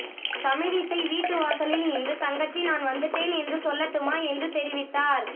தமிழிசை வீட்டு வாசலில் நின்று தங்கச்சி நான் வந்துட்டேன் என்று சொல்லட்டுமா என்று தெரிவித்தார்